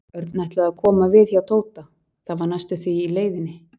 Örn ætlaði að koma við hjá Tóta, það var næstum því í leiðinni.